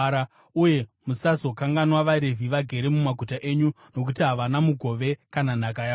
Uye musazokanganwa vaRevhi vagere mumaguta enyu, nokuti havana mugove kana nhaka yavowo.